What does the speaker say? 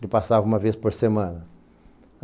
Ele passava uma vez por semana.